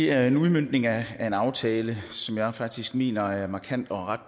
er en udmøntning af en aftale som jeg faktisk mener er et markant og ret